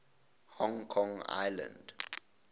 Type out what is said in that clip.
hong kong island